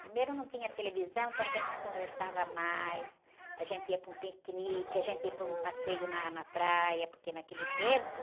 Primeiro não tinha televisão, então a gente se conversava mais, a gente ia para um piquenique, a gente ia para um passeio na, na praia, porque naquele tempo